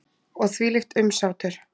Og þvílíkt umsátur.